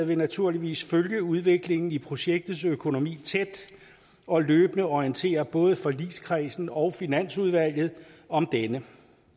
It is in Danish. vil naturligvis følge udviklingen i projektets økonomi tæt og løbende orientere både forligskredsen og finansudvalget om denne